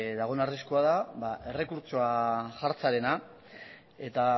dagoen arriskua da ba errekurtsoa jartzearena eta